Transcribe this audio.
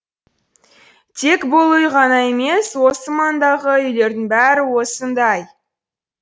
тек бұл үй ғана емес осы маңдағы үйлердің бәрі осындай